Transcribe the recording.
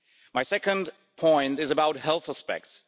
My second point is about health aspects.